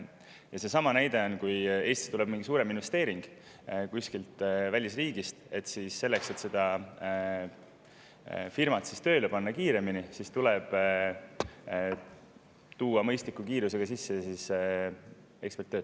Ja seesama näide: kui Eestisse tuleb mingi suurem investeering kuskilt välisriigist, siis selleks, et see firma kiiremini tööle panna, tuleb mõistliku kiirusega sisse tuua eksperte.